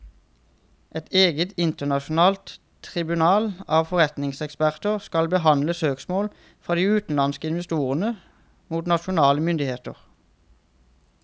Et eget internasjonalt tribunal av forretningseksperter skal behandle søksmål fra de utenlandske investorene mot nasjonale myndigheter.